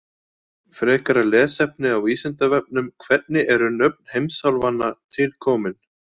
Frekara lesefni á Vísindavefnum: Hvernig eru nöfn heimsálfanna til komin?